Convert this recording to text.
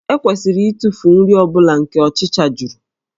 E kwesịrị ịtụfu nri ọ bụla nke ọchịcha juru